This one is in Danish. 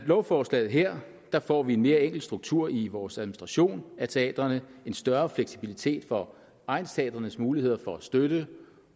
lovforslaget her får vi en mere enkel struktur i vores administrationen af teatrene en større fleksibilitet for egnsteatrenes muligheder for støtte